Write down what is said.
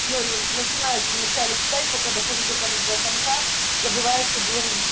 но начинающим начали читать пока захожу только до конца забывают что было на